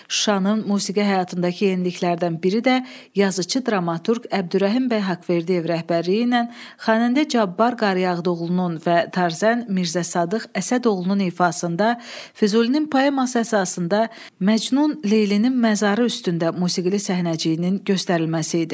Şuşanın musiqi həyatındakı yeniliklərdən biri də yazıçı dramaturq Əbdürrəhim bəy Haqverdiyev rəhbərliyi ilə xanəndə Cabbar Qaryağdıoğlunun və tarzən Mirzə Sadıq Əsədoğlunun ifasında Füzulinin poeması əsasında Məcnun Leylinin məzarı üstündə musiqili səhnəciyinin göstərilməsi idi.